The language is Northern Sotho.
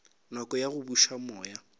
nako ya go buša moya